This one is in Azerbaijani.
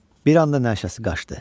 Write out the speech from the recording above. Bir anda nəşəsi qaşdı.